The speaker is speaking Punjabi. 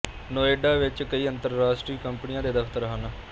ਨੋਇਡਾ ਵਿੱਚ ਕਈ ਅੰਤਰਰਾਸ਼ਟਰੀ ਕੰਪਨੀਆਂ ਦੇ ਦਫਤਰ ਹਨ